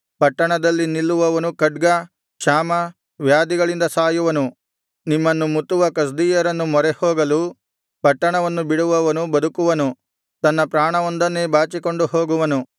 ಪಟ್ಟಣದಲ್ಲಿ ನಿಲ್ಲುವವನು ಖಡ್ಗ ಕ್ಷಾಮ ವ್ಯಾಧಿಗಳಿಂದ ಸಾಯುವನು ನಿಮ್ಮನ್ನು ಮುತ್ತುವ ಕಸ್ದೀಯರನ್ನು ಮೊರೆಹೋಗಲು ಪಟ್ಟಣವನ್ನು ಬಿಡುವವನು ಬದುಕುವನು ತನ್ನ ಪ್ರಾಣವೊಂದನ್ನೇ ಬಾಚಿಕೊಂಡು ಹೋಗುವನು